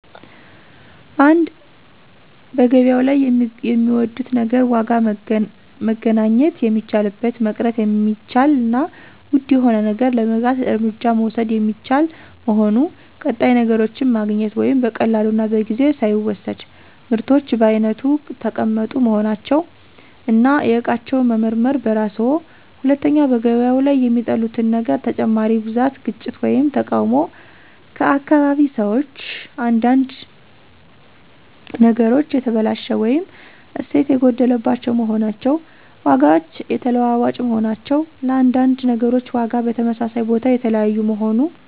1. በገበያው ላይ የሚወዱት ነገር ዋጋ መገናኘት የሚቻልበት፣ መቅረት የሚቻል እና ውድ የሆነ ነገር ለመግዛት እርምጃ መውሰድ የሚቻል መሆኑ። ቀጣይ ነገሮችን ማግኘት (በቀላሉ እና በጊዜ ሳይወሰድ)። ምርቶች በየአይነቱ ተቀመጡ መሆናቸው፣ እና የእቃውን መመርመር በራስዎ 2. በገበያው ላይ የሚጠሉት ነገር ተጨማሪ ብዛት፣ ግጭት ወይም ተቃውሞ ከአካባቢ ሰዎች። አንዳንድ አንዳንድ ነገሮች የተበላሸ ወይም እሴት የጐደለባቸው መሆናቸው። ዋጋዎች የተለዋዋጭ መሆናቸው፣ ለአንዳንድ ነገሮች ዋጋ በተመሳሳይ ቦታ የተለያዩ መሆኑ።